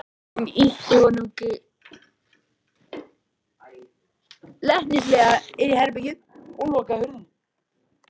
Hún ýtti honum glettnislega inn í herbergið og lokaði hurðinni.